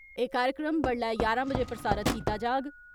एह् कार्यक्रम बडलै ञारां बजे प्रसारित कीता जाग।